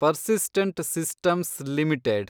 persistent Systems limited